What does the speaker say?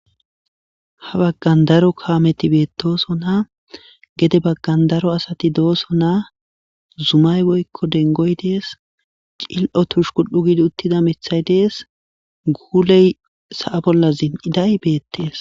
Ha baggan daro kaameti beettooso naa gede baggan daro asati dooso naa zumay woykko dengoy dees cil'o tush kul'u gidi uttida mithay dees guuley sa'a bolla zin'iday beettees.